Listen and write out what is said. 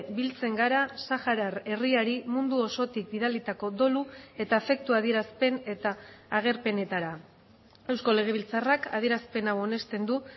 biltzen gara saharar herriari mundu osotik bidalitako dolu eta afektua adierazpen eta agerpenetara eusko legebiltzarrak adierazpen hau onesten du